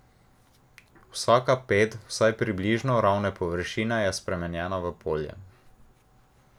Vsaka ped vsaj približno ravne površine je spremenjena v polje.